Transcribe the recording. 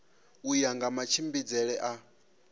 u ya nga matshimbidzele a